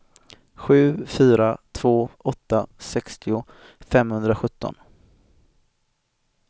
sju fyra två åtta sextio femhundrasjutton